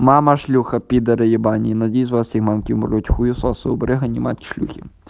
мама ш п е найди своим маленьким ручку с выбриванием от шелухи